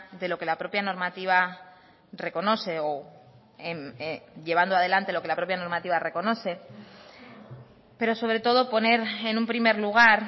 de lo que la propia normativa reconoce o llevando adelante lo que la propia normativa reconoce pero sobre todo poner en un primer lugar